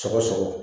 Sɔgɔsɔgɔ